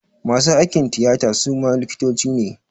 Masu aikin tiyata suma likitoci ne